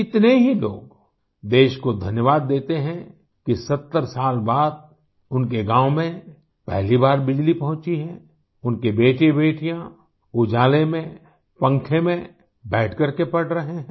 कितने ही लोग देश को धन्यवाद देते हैं कि 70 साल बाद उनके गाँव में पहली बार बिजली पहुंची है उनके बेटे बेटियाँ उजाले में पंखे में बैठ करके पढ़ रहे हैं